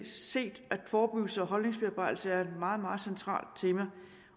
set at forbuds og holdningsbearbejdelse er et meget meget centralt tema